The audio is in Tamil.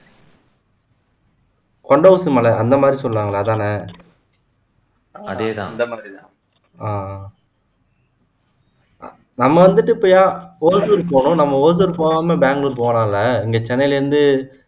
கொண்டை ஊசி மலை அந்த மாதிரி சொல்லுவாங்களே அதான்ன அதேதான் அந்த மாதிரி தான் நம்ம வந்துட்டு இப்போ என் ஓசுர் போணும் நம்ம ஓசுர் போகாம பெங்களூர் போலாம்ல இங்க சென்னையில இருந்து